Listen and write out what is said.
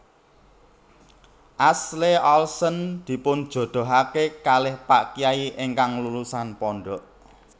Ashley Olsen dipunjodohake kalih pak kyai ingkang lulusan pondok